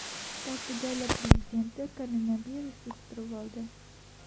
Portugaliya prezidenti koronavirus yuqtirib oldi.